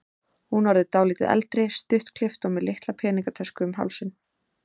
Hún orðin dálítið eldri, stuttklippt og með litla peningatösku um hálsinn.